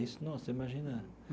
Isso nossa, você imagina.